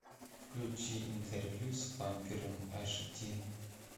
включи интервью с вампиром аш ди